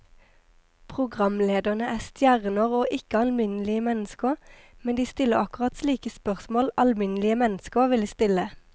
Programlederne er stjerner og ikke alminnelige mennesker, men de stiller akkurat slike spørsmål alminnelige mennesker ville stille.